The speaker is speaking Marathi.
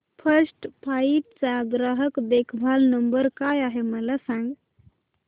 फर्स्ट फ्लाइट चा ग्राहक देखभाल नंबर काय आहे मला सांग